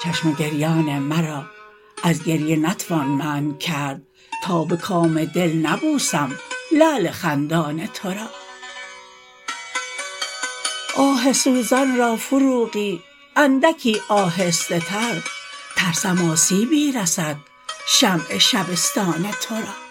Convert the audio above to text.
افشان تو را چشم گریان مرا از گریه نتوان منع کرد تا به کام دل نبوسم لعل خندان تو را آه سوزان را فروغی اندکی آهسته تر ترسم آسیبی رسد شمع شبستان تو را